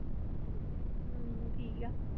ਹਮ ਠੀਕ ਹੈ।